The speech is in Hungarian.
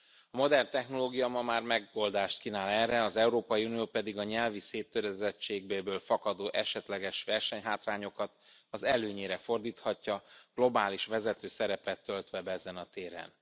A modern technológia ma már megoldást kínál erre, az Európai Unió pedig a nyelvi széttöredezettségéből fakadó esetleges versenyhátrányokat az előnyére fordíthatja, globális vezető szerepet töltve be ezen a téren.